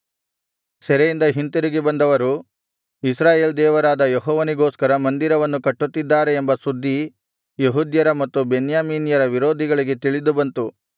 ಸೆರೆಯಿಂದ ಹಿಂತಿರುಗಿ ಬಂದವರು ಇಸ್ರಾಯೇಲ್ ದೇವರಾದ ಯೆಹೋವನಿಗೋಸ್ಕರ ಮಂದಿರವನ್ನು ಕಟ್ಟುತ್ತಿದ್ದಾರೆ ಎಂಬ ಸುದ್ದಿ ಯೆಹೂದ್ಯರ ಮತ್ತು ಬೆನ್ಯಾಮೀನ್ಯರ ವಿರೋಧಿಗಳಿಗೆ ತಿಳಿದುಬಂತು